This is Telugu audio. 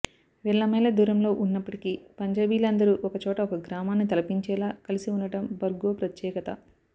వేల మైళ్ళ దూరంలో ఉన్నప్పటికీ పంజాబీలందరూ ఒక చోట ఒక గ్రామాన్ని తలపించేలా కలిసి ఉండడం బోర్గో ప్రత్యేకత